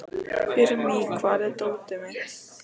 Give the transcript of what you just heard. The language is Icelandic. Irmý, hvar er dótið mitt?